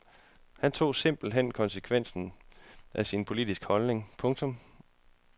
Han tog simpelt hen konsekvensen af sin politiske holdning. punktum